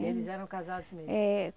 Eles eram casados mesmo? É